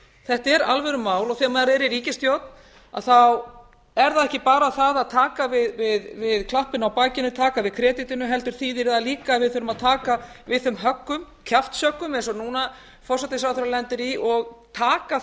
þetta er alvörumál og þegar maður er í ríkisstjórn er það ekki bara það að taka við klappinu á bakið taka við kreditinu heldur þýðir það líka að við þurfum að taka við þeim höggum kjaftshöggum eins og núna forsætisráðherra lendir í og taka